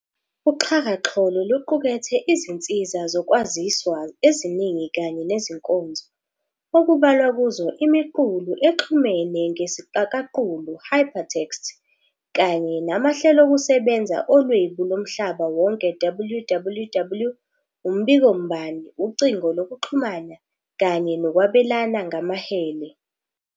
UXhakaxholo luqukethe izinsiza zokwaziswa eziningi kanye nezinkonzo, okubalwa kuzo imiqulu exhumene ngesiqakaqulu, "hypertext" kanye namahlelokusebenza oLwebu Lomhlaba Wonke, WWW, umbikombani, ucingo lokuxhumana, kanye nokwabelana ngamahele.